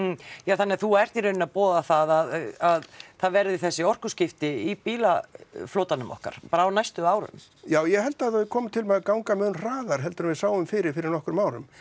þannig að þú ert í rauninni að boða það að það verði þessi orkuskipti í bílaflotanum okkar bara á næstu árum já ég held að það komi til með að ganga mun hraðar heldur en við sáum fyrir fyrir nokkrum árum